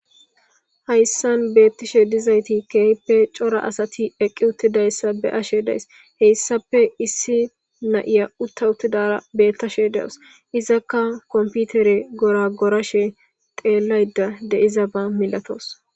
hayssan beettishe dizayti keeyppe cora asati eqqi uttidayssa be ashe days heyssappe issi na7iya utta uttidara beettashe deus izakka komputere gora gorashe xeellayda deizaba milatoos